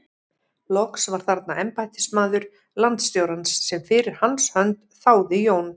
Loks var þarna embættismaður landstjórans sem fyrir hans hönd þáði Jón